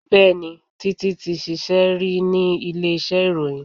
Bẹẹni, Títi ti ṣíṣe ri ni ilé iṣẹ́ ìròyìn